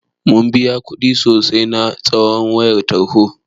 Mun biya kuɗi sosai na kitson wayar tarho.